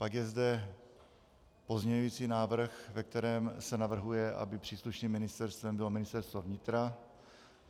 Pak je zde pozměňující návrh, ve kterém se navrhuje, aby příslušným ministerstvem bylo Ministerstvo vnitra.